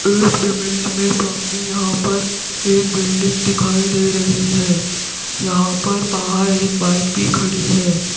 इस इमेज मे सामने यहां पर एक बिल्डिंग दिखाई दे रही है यहां पर बाहर एक बाइक भी खड़ी है।